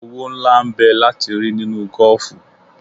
Owó ńlá n bẹ láti rí nínú gọ́ọ̀fù.